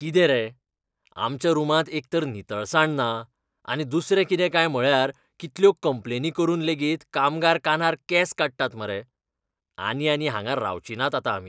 कितें रे, आमच्या रूमांत एकतर नितळसाण ना आनी दुसरें कितें काय म्हळ्यार कितल्यो कंप्लेनी करून लेगीत कामगार कानार केंस काडटात मरे. आनी आनी हांगां रावचीं नात आतां आमी.